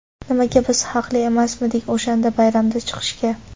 Nimaga ‘biz haqli emasmidik o‘shanda bayramda chiqishga.